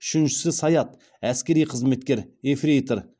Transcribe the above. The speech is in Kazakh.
үшіншісі саят әскери қызметкер ефрейтор